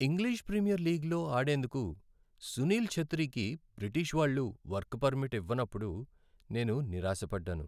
English premier లీగ్లో ఆడేందుకు సునీల్ ఛెత్రీకి బ్రిటిష్ వాళ్ళు వర్క్ పర్మిట్ ఇవ్వనప్పుడు నేను నిరాశపడ్డాను.